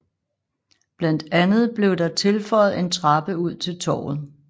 Blandt andet blev der tilføjet en trappe ud til Torvet